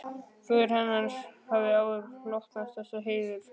Föður hennar hafði áður hlotnast þessi heiður.